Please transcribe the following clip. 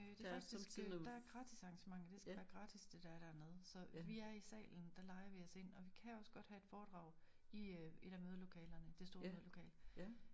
Øh det faktisk øh der gratis arrangementer det skal være gratis det der er dernede så vi er i salen der lejer vi os ind og vi kan også godt have et foredrag i øh et af mødelokalerne det store mødelokale